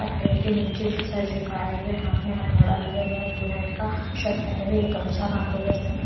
पटरी के नीचे से सर झुकाए हुए हाथ में हथौड़ा लिए हुआ है फुल हैंड का शर्ट पहने हुए एक गमछा बांधे हुए सर--